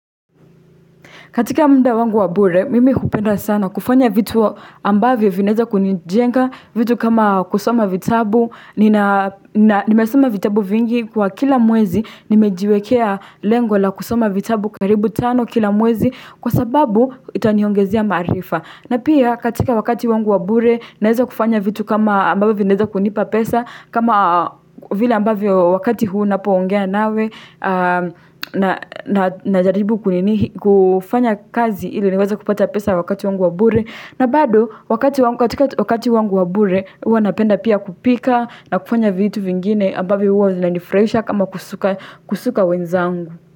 Katika muda wangu wa bure, mimi hupenda sana kufanya vitu ambavyo vinaeza kunijenga, vitu kama kusoma vitabu, nimesoma vitabu vingi kwa kila mwezi, nimejiwekea lengo la kusoma vitabu karibu tano kila mwezi kwa sababu itaniongezia maarifa. Na pia katika wakati wangu wa bure naeza kufanya vitu kama ambavyo vinaeza kunipa pesa kama vile ambavyo wakati huu napoongea nawe najaribu kufanya kazi ili niweze kupata pesa wakati wangu wa bure. Na bado wakati wangu wa bure huwa napenda pia kupika na kufanya vitu vingine ambavyo huwa vinanifurahisha kama kusuka wenzangu.